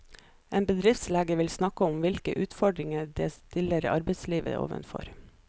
En bedriftslege vil snakke om hvilke utfordringer dette stiller arbeidslivet overfor.